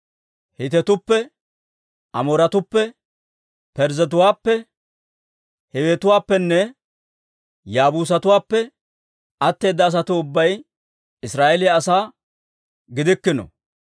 Hiitetuppe, Amooratuppe, Parzzetuwaappe, Hiiwetuwaappenne Yaabuusatuwaappe atteeda asatuu ubbay Israa'eeliyaa asaa gidikkino;